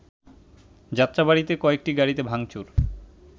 যাত্রাবাড়ীতে কয়েকটি গাড়িতে ভাংচুর